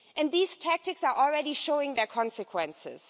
These tactics are already showing their consequences.